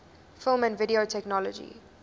film and video technology